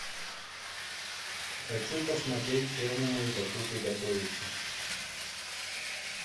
хочу посмотреть первому игроку приготовиться